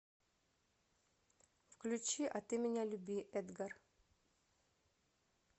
включи а ты меня люби эдгар